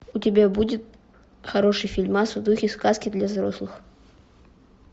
у тебя будет хороший фильмас в духе сказки для взрослых